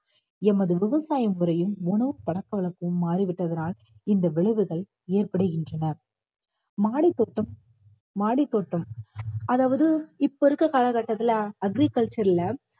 எமது விவசாய முறையும் உணவு பழக்க வழக்கமும் மாறிவிட்டதனால் இந்த விளைவுகள் ஏற்படுகின்றன மாடித்தோட்டம் மாடித்தோட்டம் அதாவது இப்ப இருக்க காலகட்டத்துல agriculture ல